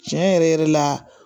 Tiɲɛ yɛrɛ yɛrɛ la